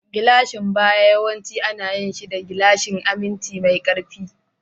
Gilashin baya yawanci ana yin shi da gilashin aminci mai ƙarfi.